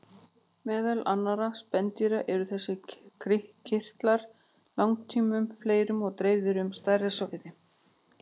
Meðal annarra spendýra eru þessir kirtlar langtum fleiri og dreifðir um stærra svæði.